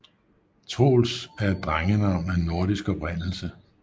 Troels er et drengenavn af nordisk oprindelse